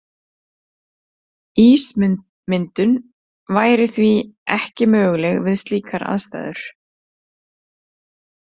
Ísmyndun væri því ekki möguleg við slíkar aðstæður.